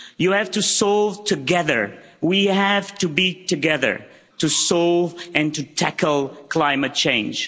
you have to solve together. We have to be together to solve and to tackle climate change.